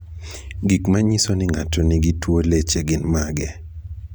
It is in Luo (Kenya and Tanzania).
Gik manyiso ni ng'ato nigi tuwo leche gin mage?